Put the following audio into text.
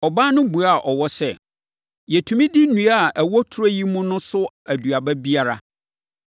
Ɔbaa no buaa ɔwɔ sɛ, “Yɛtumi di nnua a ɛwɔ turo yi mu no so aduaba biara,